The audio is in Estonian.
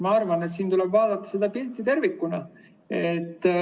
Ma arvan, et siin tuleb vaadata pilti tervikuna.